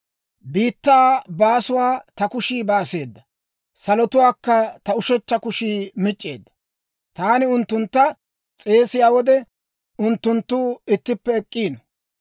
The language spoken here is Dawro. Biittaa baasuwaa ta kushii baaseeda. Salotuwaakka ta ushechcha kushii mic'c'eedda. Taani unttuntta s'eesiyaa wode, unttunttu ittippe ek'k'iino.